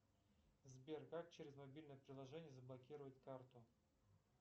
сбер как через мобильное приложение заблокировать карту